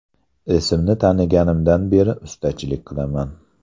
Esimni taniganimdan beri ustachilik qilaman.